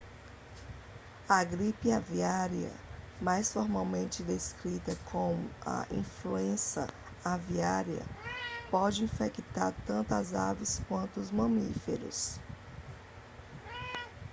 a gripe aviária mais formalmente descrita como a influenza aviária pode infectar tanto as aves quanto os mamíferos